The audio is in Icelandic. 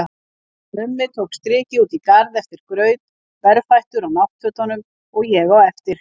Mummi tók strikið út í garð eftir graut, berfættur á náttfötunum, og ég á eftir.